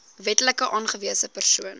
wetlik aangewese persoon